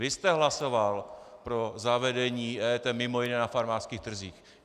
Vy jste hlasoval pro zavedení EET mimo jiné na farmářských trzích.